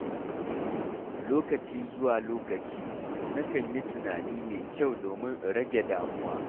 Lokaci zuwa lokaci, na kan yi tunani mai kyau domin in rage damuwa.